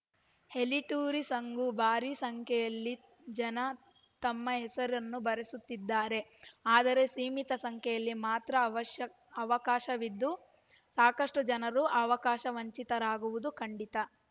ಹೆಲಿಟೂರಿಸಂಗೂ ಭಾರೀ ಸಂಖ್ಯೆಯಲ್ಲಿ ಜನ ತಮ್ಮ ಹೆಸರನ್ನು ಬರೆಸುತ್ತಿದ್ದಾರೆ ಆದರೆ ಸೀಮಿತ ಸಂಖ್ಯೆಯಲ್ಲಿ ಮಾತ್ರ ಅವ್ಯಾಸ್ಕ್ ಅವಕಾಶವಿದ್ದು ಸಾಕಷ್ಟುಜನರು ಅವಕಾಶವಂಚಿರಾಗುವುದು ಖಂಡಿತ